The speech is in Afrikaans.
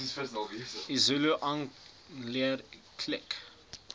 isizulu aanleer klik